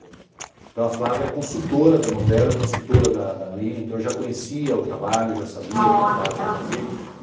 Então a Flávia é consultora da novela, é consultora da Aline, então eu já conhecia o trabalho, já sabia o que a Flávia ia fazer.